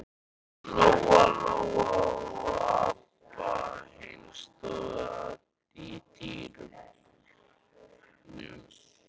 Lóa-Lóa og Abba hin stóðu í dyrunum.